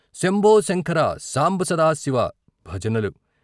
శంభోశంకర సాంబసదాశివ ' భజనలు